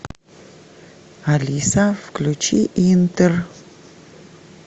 алиса включи интер